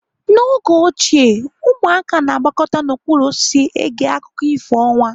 N'oge ochie ụmụaka na-agbakọta n'okpuru osisi ege akụkọ ifo ọnwa.